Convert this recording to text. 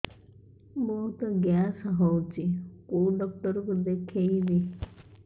ବହୁତ ଗ୍ୟାସ ହଉଛି କୋଉ ଡକ୍ଟର କୁ ଦେଖେଇବି